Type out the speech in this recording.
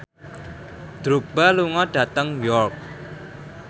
Drogba lunga dhateng York